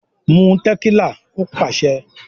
"Mú tẹ̀kílà" Ó pàṣẹ.